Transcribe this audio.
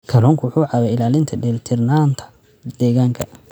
Kalluunku wuxuu caawiyaa ilaalinta dheelitirnaanta deegaanka.